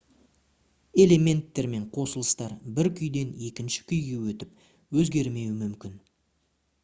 элементтер мен қосылыстар бір күйден екінші күйге өтіп өзгермеуі мүмкін